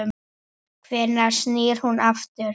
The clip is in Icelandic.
Hvenær snýr hún aftur?